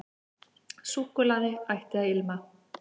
Súkkulaði ætti að ilma.